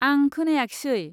आं खोनायाखिसै।